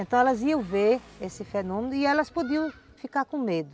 Então elas iam ver esse fenômeno e elas podiam ficar com medo.